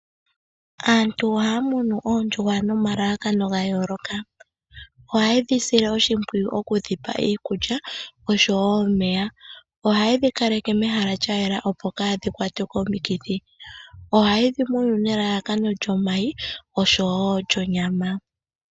Aantu ohaya munu oondjuhwa nomalalakano gayooloka, ohayedhi sile oshimpwiyu okudhipa iikulya nosho wo omeya. Ohayedhi kaleke mehala lyayela opo kaadhikwatwe komikithi. Ohayedhi munu nelalakano lyomayi osho wo lyonyama.